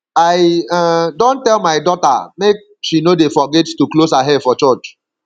i um don tell my daughter make she no dey forget to close her hair for church